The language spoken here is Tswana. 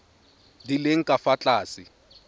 di leng ka fa tlase